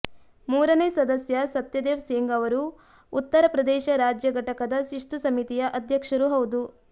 ಮೂರನೇ ಸದಸ್ಯ ಸತ್ಯದೇವ್ ಸಿಂಗ್ ಅವರು ಉತ್ತರ ಪ್ರದೇಶ ರಾಜ್ಯ ಘಟಕದ ಶಿಸ್ತು ಸಮಿತಿಯ ಅಧ್ಯಕ್ಷರೂ ಹೌದು